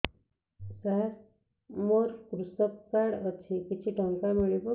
ସାର ମୋର୍ କୃଷକ କାର୍ଡ ଅଛି କିଛି ଟଙ୍କା ମିଳିବ କି